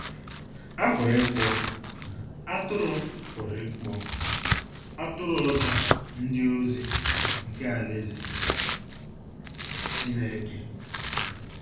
A pụrụ ịkpọ “atụrụ pụrụ ịkpọ “atụrụ ọzọ” a “ndị ozi” nke Alaeze Chineke.